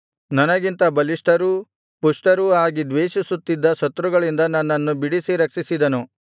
ನನಗಿಂತ ಬಲಿಷ್ಠರೂ ಪುಷ್ಠರೂ ಆಗಿ ದ್ವೇಷಿಸುತ್ತಿದ್ದ ಶತ್ರುಗಳಿಂದ ನನ್ನನ್ನು ಬಿಡಿಸಿ ರಕ್ಷಿಸಿದನು